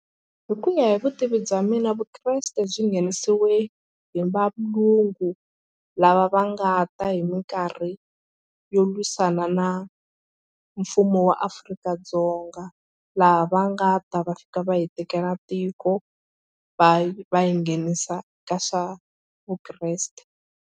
Hi ku ya hi vutivi bya mina vukreste byi nghenisiwe hi valungu lava va nga ta hi mikarhi yo lwisana na mfumo wa Afrika-Dzonga laha va nga ta va fika va hi tekela tiko va va yi nghenisa ka swa vukreste.